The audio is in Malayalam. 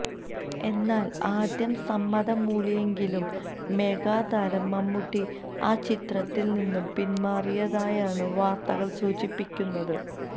എന്നാൽ ആദ്യം സമ്മതം മൂളിയെങ്കിലും മെഗാതാരം മമ്മൂട്ടി ആചിത്രത്തിൽ നിന്നും പിന്മാറിയതായാണ് വാർത്തകൾ സൂചിപ്പിക്കുന്നത്